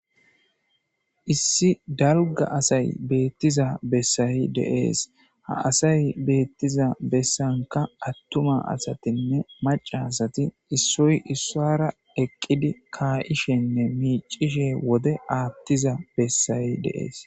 Issi dalga asay beettiza bessay deees ha asay beettiza bessanka attuma asatinne macarasati issoy issara eqqidi kaa'ishenne miicishe wode aattiza bessay de'ees.